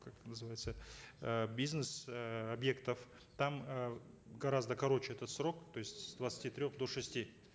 как называется э бизнес эээ объектов там э гораздо короче этот срок то есть с двадцати трех до шести